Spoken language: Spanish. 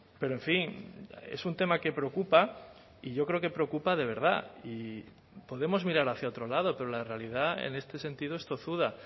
pero en fin es un tema que preocupa y yo creo que preocupa de verdad y podemos mirar hacia otro lado pero la realidad en este sentido es tozuda